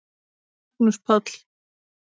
Magnús Páll.